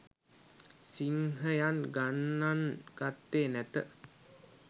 සිංහයන් ගණන් ගත්තේ නැත.